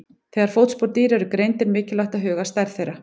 Þegar fótspor dýra eru greind er mikilvægt að huga að stærð þeirra.